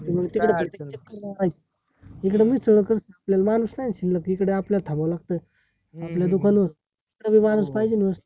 मानस आहे शिल्लक इथे आपला ठाव लागत आपला दुकानावर मानस